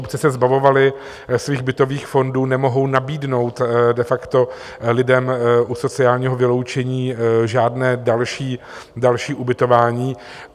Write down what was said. Obce se zbavovaly svých bytových fondů, nemohou nabídnout de facto lidem u sociálního vyloučení žádné další ubytování.